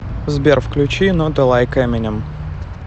сбер включи нот элайк эминем